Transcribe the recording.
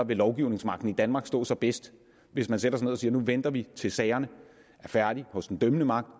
vil lovgivningsmagten i danmark stå sig bedst hvis man sætter sig ned og siger nu venter vi til sagerne er færdige hos den dømmende magt